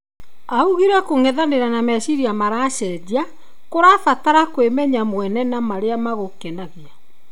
Augĩre kũng'ethanĩra na meciria maracejia kũrabatara kwĩmenya mwene na marĩa magũkenagia.